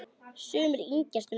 Sumir yngjast um nokkur ár.